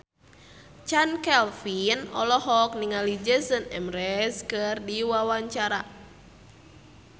Chand Kelvin olohok ningali Jason Mraz keur diwawancara